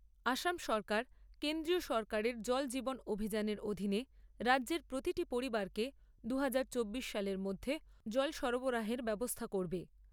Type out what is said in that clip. আসাম সরকার কেন্দ্রীয় সরকারের জল জীবন অভিযানের অধীনে রাজ্যের প্রতিটি পরিবারকে দু হাজার চব্বিশ সালের মধ্যে জল সরবরাহের ব্যবস্থা করবে।